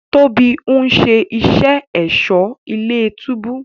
Tóbi ń ṣe iṣé Ẹ̀ṣọ́ ilé-túbú